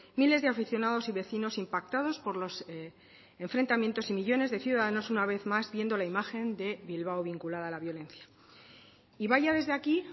miles de aficionados y vecinos impactados por los enfrentamientos y millónes de ciudadanos una vez más viendo la imagen de bilbao vinculada a la violencia y vaya desde aquí